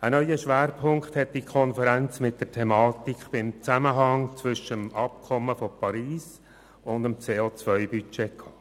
Einen neunen Schwerpunkt hat die Konferenz bei der Thematik zum Zusammenhang zwischen dem Abkommen von Paris und dem CO-Budget gesetzt.